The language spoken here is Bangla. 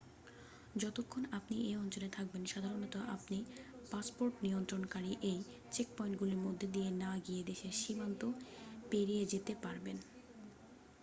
যতক্ষণ আপনি এই অঞ্চলে থাকবেন সাধারণত আপনি পাসপোর্টনিয়ন্ত্রণকারী এই চেকপয়েন্টগুলির মধ্যে দিয়ে না গিয়ে দেশের সীমান্ত পেরিয়েযেতে পারবেন